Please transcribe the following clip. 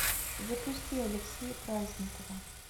запусти алексея праздникова